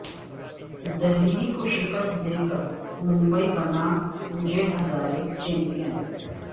دہلی کو شکست دے کر ممبئی بنا وجے ہزارے چیمپین